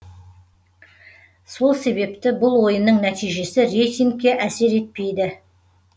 сол себепті бұл ойынның нәтижесі рейтингке әсер етпейді